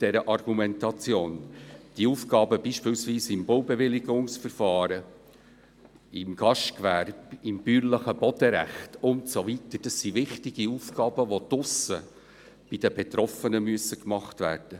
Die Aufgaben, beispielsweise bei Baubewilligungsverfahren, im Gastgewerbe, im bäuerlichen Bodenrecht und so weiter, sind wichtig Aufgaben, die draussen bei den Betroffenen anfallen.